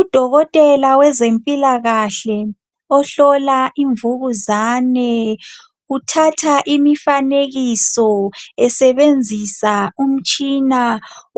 Udokotela wezempilakahle ohlola imvukuzane uthatha imifanekiso esebenzisa umtshina